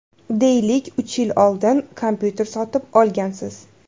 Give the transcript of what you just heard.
Deylik, uch yil oldin kompyuter sotib olgansiz.